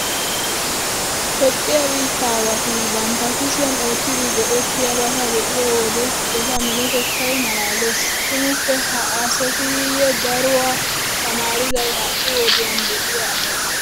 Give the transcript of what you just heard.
Toophphiya biittaawati bantta kushiyan oottidi go"ettiyobata be'iyo wode eta minotettay maalaalees. Tumuppe ha asateeyyee daruwa tamaariday ha"i wodiyan de'iya asatee!